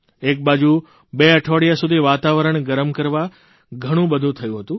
એકબાજુ બે અઠવાડિયા સુધી વાતાવરણ ગરમ કરવા ઘણું બધું થયું હતું